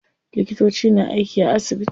Likitoci na aiki a asibiti.